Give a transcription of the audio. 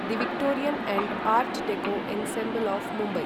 the Victorian and art deco ensemble of Mumbai